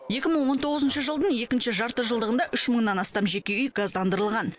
екі мың он тоғызыншы жылдың екінші жартыжылдығында үш мыннан астам жеке үй газдандырылған